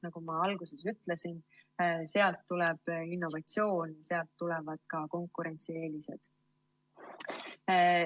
Nagu ma alguses ütlesin, sealt tuleb innovatsioon ja sealt tulevad ka konkurentsieelised.